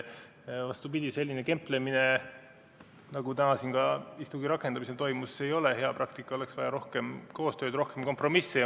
Vastupidi, selline kemplemine nagu täna siin ka istungi rakendamisel toimus, ei ole hea praktika, oleks vaja rohkem koostööd, rohkem kompromisse.